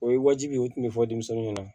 O ye wajibi ye o tun bɛ fɔ denmisɛnninw ɲɛna